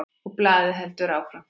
Og blaðið heldur áfram